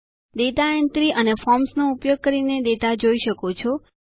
data entry અને ફોર્મ્સનો ઉપયોગ કરીને ડેટા જોઈ શકો છો